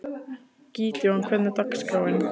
Gídeon, hvernig er dagskráin?